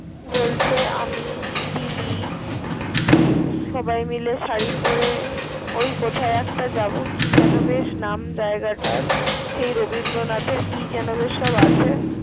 বলছে আমি দিদি সবাই মিলে শারি পড়ে ওই কোথাও একটা যাব কি যেন বেশ নাম যায়গাটার। সেই রবীন্দনাথের কি যেন বেশ সব আছে।